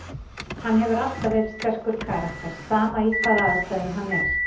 Hann hefur alltaf verið sterkur karakter, sama í hvaða aðstæðum hann er.